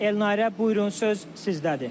Elnarə, buyurun, söz sizdədir.